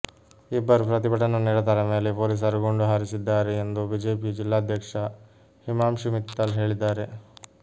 ಇಬ್ಬರು ಪ್ರತಿಭಟನಾ ನಿರತರ ಮೇಲೆ ಪೊಲೀಸರು ಗುಂಡು ಹಾರಿಸಿದ್ದಾರೆ ಎಂದು ಬಿಜೆಪಿ ಜಿಲ್ಲಾಧ್ಯಕ್ಷ ಹಿಮಾಂಶು ಮಿತ್ತಲ್ ಹೇಳಿದ್ದಾರೆ